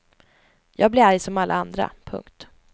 Jag blir arg som alla andra. punkt